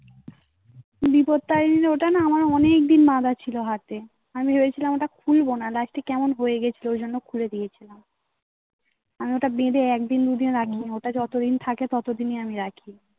বিপদটা যদি ওটা না আমার অনেকদিন বাধা ছিল হাতে. আমি ভেবেছিলাম ওটা খুলবো না. light টা কেমন হয়ে গেছিলো? ওই জন্য খুলে দিয়েছিলাম. আমি ওটা বেঁধে একদিন দুদিন আগে. ওটা যতদিন থাকে ততদিনই আমি রাখি